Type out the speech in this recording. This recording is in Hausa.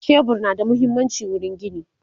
shebur na da muhimmanci wurin gini